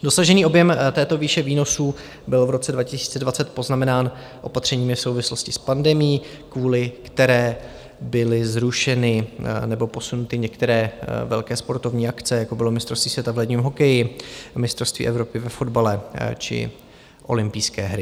Dosažený objem této výše výnosů byl v roce 2020 poznamenán opatřeními v souvislosti s pandemií, kvůli které byly zrušeny nebo posunuty některé velké sportovní akce, jako bylo mistrovství světa v ledním hokeji, mistrovství Evropy ve fotbale či olympijské hry.